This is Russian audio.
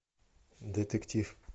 детектив